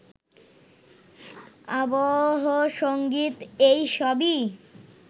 আবহসঙ্গীত এইসবই